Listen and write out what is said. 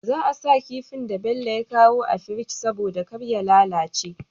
Za a sa kifin da Bello ya kawo a firji saboda karya lalace